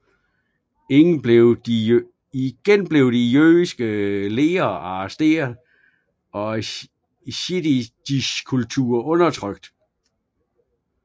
Igen blev de jødiske ledere arresteret og jiddisch kultur undertrykt